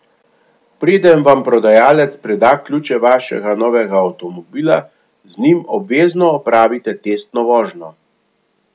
Preden vam prodajalec preda ključe vašega novega avtomobila, z njim obvezno opravite testno vožnjo.